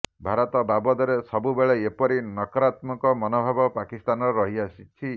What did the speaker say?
ଭାରତ ବାବଦରେ ସବୁବେଳେ ଏପରି ନକରାତ୍ମକ ମନୋଭାବ ପାକିସ୍ଥାନର ରହି ଆସିଛି